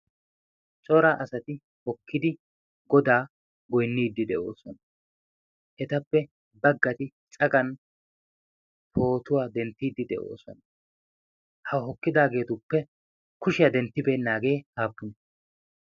cora asati hokkidi godaa goynniiddi de'oosona etappe baggati cagan pootuwaa denttiiddi de'oosona ha hokkidaageetuppe kushiyaa denttibeennaagee aappune